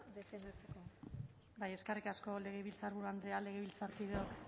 defendatzeko eskerrik asko legebiltzarburu andrea legebiltzarkideok